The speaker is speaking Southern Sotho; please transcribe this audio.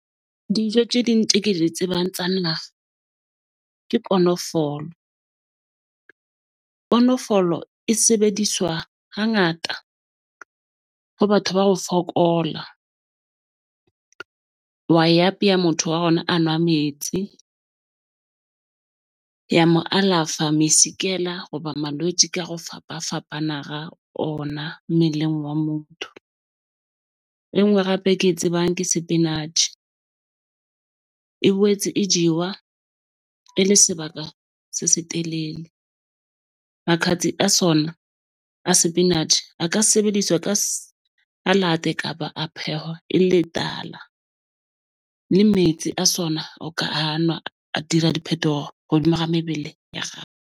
Dijo tse ding tse ke di tsebang tsa naha ke konofolo . Konofolo e sebediswa hangata ho batho ba ho fokola . Wa e apeya motho wa a nwa metsi ya mo alafa hoba malwetji ka ho fapafapana ona mmeleng wa motho. E nngwe hape ke e tsebang ke sepinatjhe. E boetse e jewa e le sebaka se setelele. a sona a sepinatjhe, a ka sebediswa ka kapa a phehwa e le tala. Le metsi a sona o ka a nwa a dira diphetogo hodima ha mebele ya .